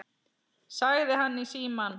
sagði hann í símann.